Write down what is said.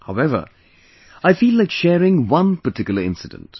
However, I feel like sharing one particular incident